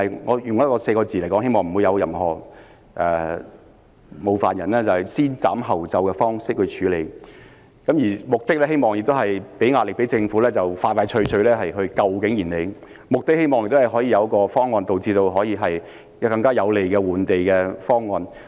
我用4個字來形容——希望不會冒犯他人——便是以"先斬後奏"的方式來處理，目的是希望給政府壓力，盡快拯救景賢里，亦希望可以得到更有利的換地方案。